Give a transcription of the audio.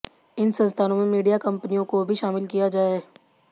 इन संस्थानों में मीडिया कंपनियों को भी शामिल किया जाए